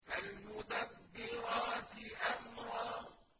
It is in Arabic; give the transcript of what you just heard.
فَالْمُدَبِّرَاتِ أَمْرًا